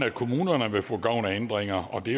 at kommunerne vil få gavn af ændringerne og det